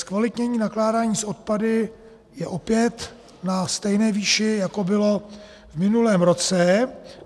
Zkvalitnění nakládání s odpady je opět na stejné výši, jako bylo v minulém roce.